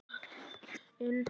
Þarftu að ryðjast svona inn?